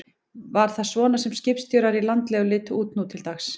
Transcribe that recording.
Var það svona sem skipstjórar í landlegu litu út nú til dags?